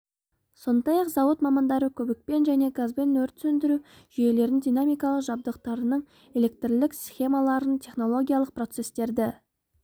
сондай-ақ зауыт мамандары көбікпен және газбен өрт сөндіру жүйелерін динамикалық жабдықтарының электрлік схемаларын технологиялық процестерді